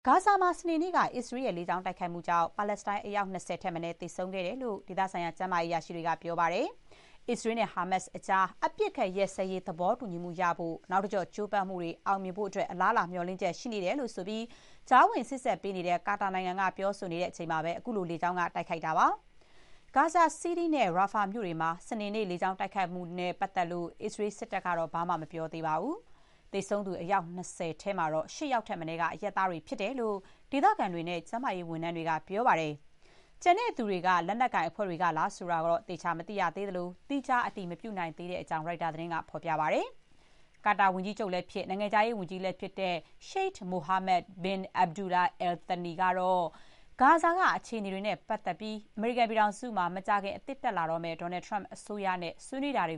ဂါဇာမှာ စနေနေ့က အစ္စရေးရဲ့ လေ ကြောင်း တိုက်ခိုက်မှုကြောင့် ပါလက်စတိုင်း အယောက် ၂၀ ထက်မနည်း သေဆုံးခဲ့တယ်လို့ ဒေသဆိုင်ရာ ကျန်းမာရေး အရာရှိတွေက ပြောပါတယ်။ အစ္စရေးနဲ့ ဟာမတ်စ်ကြား အပစ်အခတ် ရပ်စဲရေး သဘောတူညီမှုရဖို့ နောက်တကျော့ ကြိုးပမ်းမှုတွေ အောင်မြင်ဖို့ အလားအလာ မျှော်လင့်ချက် ရှိနေတယ်ဆိုပြီး ကြားဝင် စေ့စပ်ပေးနေတဲ့ ကာတာနိုင်ငံက ပြောဆိုနေချိန်မှာပဲ အခုလို လေကြောင်းက တိုက်ခိုက်ခဲ့တာပါ။ ဂါဇာ စီးတီးနဲ့ ရာဖာမြို့တွေမှာ စနေနေ့ လေကြောင်း တိုက်ခိုက်မှုတွေနဲ့ အစ္စရေး စစ်တပ်ကတော့ ဘာမှမပြောသေးပါဘူး။ သေဆုံးသူ အယောက် ၂၀ ထဲမှာ ၈ ယောက်ထက်မနည်းက အရပ်သားတွေ ဖြစ်တယ်လို့ ဒေသခံတွေနဲ့ ကျန်းမာရေး ဝန်ထမ်းတွေက ပြောပါတယ်။ ကျန်တဲ့သူတွေက လက်နက်ကိုင်အဖွဲ့တွေကလား ဆိုတာလည်း သေချာတော့ မသိရသေးသလို၊ သီးခြား အတည်မပြုနိုင်သေးကြောင်း ရိုက်တာသတင်းဌာနက ပြောပါတယ်။ ကာတာ ဝန်ကြီးချုပ်လည်းဖြစ်၊ နိုင်ငံခြားရေးဝန်ကြီးလည်း ဖြစ်တဲ့ ရှိုက် မိုဟာမက် ဘင် အက်ဘ်ဒူလာ အယ်လ် သနီ − Sheikh Mohammed bin Abdulrahman Al Thani ကတော့ ဂါဇာက အခြေအနေတွေနဲ့ ပတ်သက်ပြီး အမေရိကန်မှာ မကြာခင် အသစ်တက်လာတော့မယ့် Donald Trump အစိုးရနဲ့ ဆွေးနွေးတာတွ